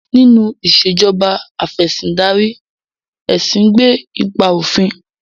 Nínú Ìṣèjọba Af'ẹ̀sìndarí, ẹ̀sìn gbé ipa òfin